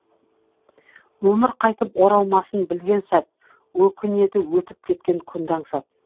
өмір қайтып оралмасын білген сәт өкінеді өтіп кеткен күнді аңсап